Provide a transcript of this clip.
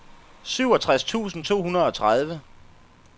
syvogtres tusind to hundrede og tredive